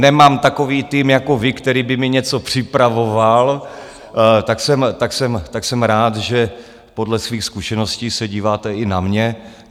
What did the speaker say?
Nemám takový tým jako vy, který by mi něco připravoval, tak jsem rád, že podle svých zkušeností se díváte i na mě.